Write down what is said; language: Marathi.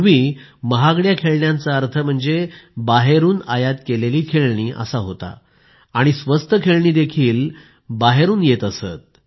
पूर्वी महागड्या खेळण्यांचा अर्थ म्हणजे बाहेरून आयात केलेली खेळणी असाच होता आणि स्वस्त खेळणी देखील बाहेरून येत असत